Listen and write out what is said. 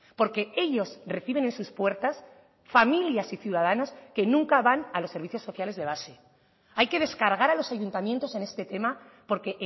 porque ellos reciben en sus puertas familias y ciudadanos que nunca van a los servicios sociales de base hay que descargar a los ayuntamientos en este tema porque